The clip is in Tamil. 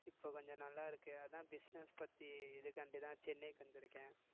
இப்ப கொஞ்சம் நல்லா இருக்கு அதான் business பத்தி இதுக்காண்டிதான் சென்னைக்கு வந்திருக்கேன்